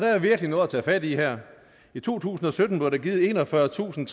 er virkelig noget at tage fat i her i to tusind og sytten blev der givet enogfyrretusinde